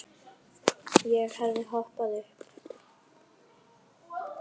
Ég hefði hoppað upp.